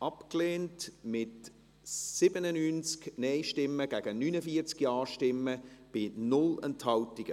abgelehnt, mit 97 Nein- gegen 49 Ja-Stimmen bei 0 Enthaltungen.